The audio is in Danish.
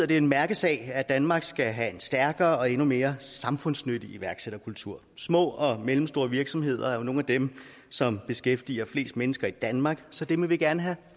det en mærkesag at danmark skal have en stærkere og endnu mere samfundsnyttig iværksætterkultur de små og mellemstore og virksomheder er jo nogle af dem som beskæftiger flest mennesker i danmark så dem vil vi gerne have